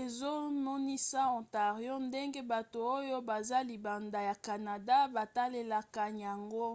ezomonisa ontario ndenge bato oyo baza libanda ya canada batalelaka yango